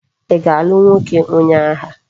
I ga-alu nwoke onye agha?